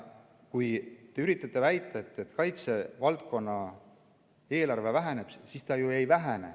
Kui te üritate väita, et kaitsevaldkonna eelarve väheneb, siis ta ju ei vähene.